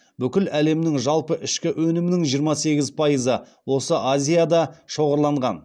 бүкіл әлемнің жалпы ішкі өнімнің жиырма сегіз пайызы осы азияда шоғырланған